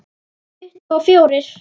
Tuttugu og fjórir!